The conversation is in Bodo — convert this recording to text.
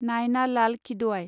नायना लाल खिदोआय